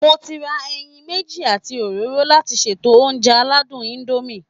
Mo ti ra ẹyin méjì àti òróró láti ṣètò oúnjẹ aládùn indomie